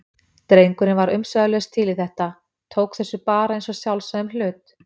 Drengurinn var umsvifalaust til í þetta, tók þessu bara eins og sjálfsögðum hlut.